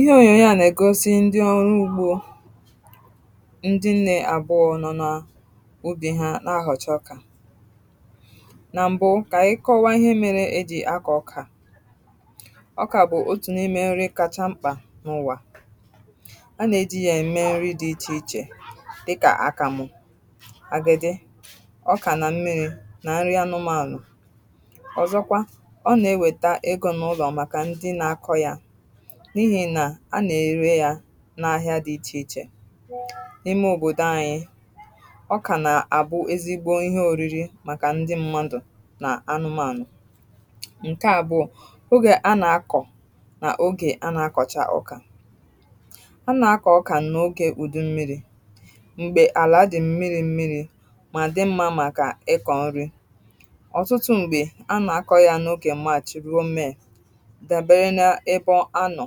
Ihe ònyònyo a nà-ègosi ndi ọrụ ugbo ndi nnė àbụọ nọ na ubì ha na-ahọ̀cha ọkà. Na m̀bụ kà anyị kọwa ihe mere ejì akọ̀ ọkà. Ọkà bụ̀ otù n’ime nri kacha mkpà n’ụwà, a nà-èji yȧ ème nri dị ịchè ịchè dịkà àkàmụ̀, àgịdị, ọkà nà mmiri̇ nà nri anụmanụ. Ọzọkwa ọ nà-ewèta egȯ n’ụlọ màkà ndi na akọ̇ ya, n’ihi nà a nà-èrė ya n’ahịa dị̇ ichè ichè. Ime òbòdò anyị, ọkà nà-àbụ ezigbo ihe òriri màkà ndi mmadụ̀ nà anụmanụ̀. Nkè àbụọ, ogè a nà-akọ̀ n’ogè a nà-akọ̀cha ọkà; a nà-akọ̀ ọkà n’ogè ùdu mmiri̇ m̀gbè àlà dì mmiri̇ mmiri̇ mà dị mmȧ màkà ịkọ̀ nri. Ọtụtụ m̀gbè, a nà-akọ̀ ya n’ogè March ruó May, dabere na ébé ọ anọ.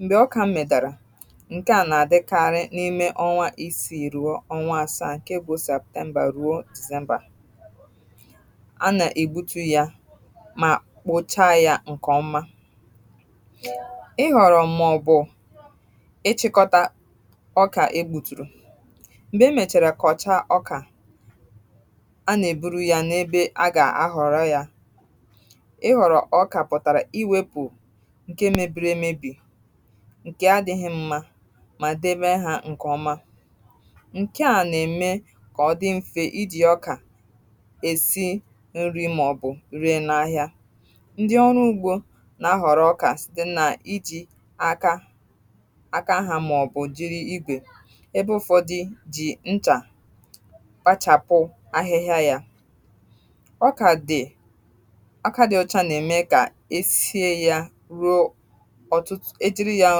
Mgbè ọkà metárà, ǹkè à nà-àdịkarị n’ime ọnwa isiì ruo ọnwa asȧa, ǹkè bụ̀ Séptèmbà ruo Dízèmbà. A nà-ègbutu yà, mà kpocha ya ǹkèọma. Ihọ̀rọ̀ màọbụ̀ bụ̀ ịchị̇kọ̇ta ọkà egbuturu; m̀gbè emèchàrà kọ̀ọcha ọkà, a nà-eburu ya n’ebe a gà-àhọrọ ya. Ịhọ̀rọ̀ ọkà pụ̀tàrà iwėpụ̀ ǹkè mebiri èmebì, nke adị̇ghị̇ mmȧ mà dèbe hȧ ǹkè ọma. Nkè a nà-ème kà ọdị mfė ijì ọkà èsi nri màọ̀bụ̀ rie n’ahịà. Ndi ọrụ ugbȯ nà-ahọ̀rọ̀ ọkà site nà ijì aka aka ha màọ̀bụ̀ jiri ìgwè, ebe ụ̀fọdụ jì nchà kpachàpụ ahịhịa yȧ. Ọka dị, ọkà dị ọcha na eme ka e sié ya ruo, ọ̀tụtụ̀ ejìri yà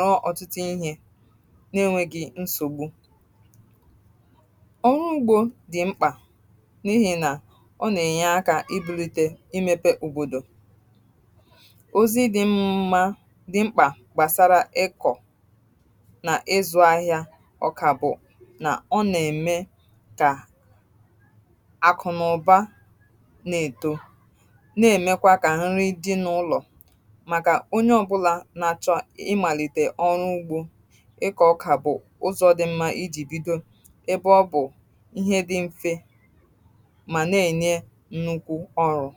ruọ̇ òtùtù ihė nà-enwėghi̇ nsògbu. Ọrụ ugbo dì mkpà n’ihì nà ọ nà-ènyeakȧ ibulite imepe òbòdò. Ozi dị̇ mma dị mkpà gbàsara ịkọ̀ nà ịzụ̇ ahịa ọkà bụ̀, nà ọ nà-ème kà àkụ̀nụ̀ba n'eto, na-èmekwa kà nri dị n’ụlọ̀. Maka onye ọbụla na achọ ịmalite ọrụ ụgbo, ikọ ọkà bụ̀ ụzọ dị mma iji̇ bido, ebe ọ bụ̀ ihe dị mfe ma na-enye nnukwu ọrụ̇.